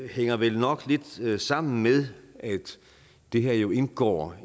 hænger vel nok lidt sammen med at det her jo indgår